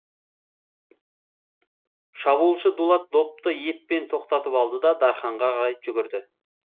шабуылшы дулат допты еппен тоқтатып алды да дарханға қарай жүгірді